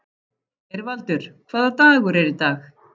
Geirvaldur, hvaða dagur er í dag?